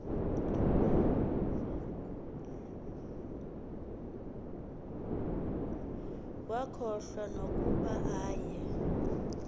wakhohlwa nokuba aye